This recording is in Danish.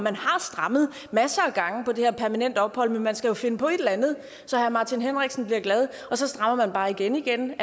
har strammet masser af gange på det her med permanent ophold men man skal jo finde på et eller andet så herre martin henriksen bliver glad og så strammer man bare igen igen